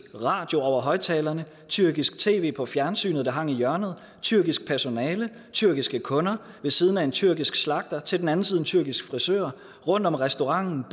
radio over højtalerne tyrkisk tv på fjernsynet der hang i hjørnet tyrkisk personale tyrkiske kunder ved siden af en tyrkisk slagter til den anden side en tyrkisk frisør og rundt om restauranten